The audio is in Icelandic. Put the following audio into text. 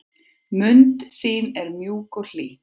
Mund þín er mjúk og hlý.